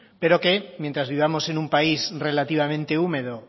pero que mientras vivamos en un país relativamente húmedo